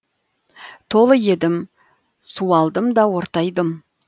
толы едім суалдым да ортайдым